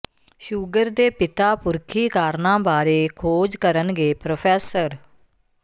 sugar ਦੇ ਪਿਤਾ ਪੁਰਖੀ ਕਾਰਨਾਂ ਬਾਰੇ ਖੋਜ ਕਰਨਗੇ ਪ੍ਰੋ